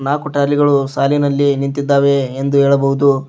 ಹಾಗು ಟ್ರಾಲಿಗಳು ಸಾಲಿನಲ್ಲಿ ನಿಂತಿದ್ದಾವೆ ಎಂದು ಹೇಳಬಹುದು